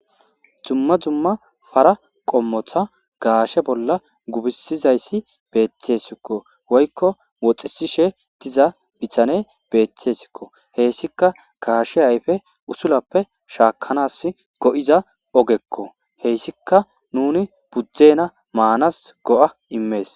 dumma dumma para qommotha gaashe bolla gubisizayssi beeththesikko woykko woxisishe diza bithane beeththesikko heessika gaashe ayfe usulappe shaakanas go7iza ogekko heyssika nuni budzdena maanas go7a immees